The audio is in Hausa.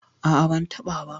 A'a ban taɓa ba.